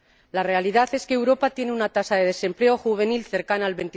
La realidad es que Europa tiene una tasa de desempleo juvenil cercana al